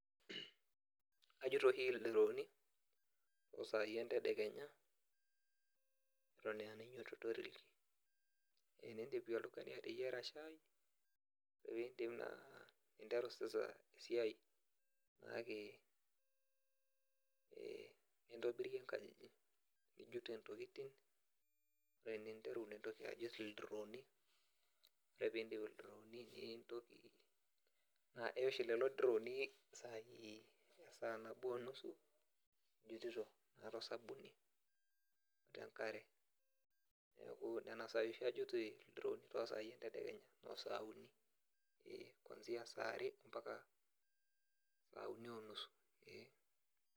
Ajut oshi ildirooni tosaai entedekenya eton enainyiototoreki enindipi oltung'ani ateyiara shai opindip naa ninteru sasa esiai naake eh nintobirie inkajijik nijut entokitin ore eninteru nintoki ajut ildirooni ore pindip ildirooni nintoki naa eya ooshi lelo dirooni isaai esaa nabo onusu ijutito naa tosabuni otenkare niaku nena saai oshi ajui il ildirooni tosai entedekenya inoo saa uni kwanzia saa are mpaka saa uni onusu eh.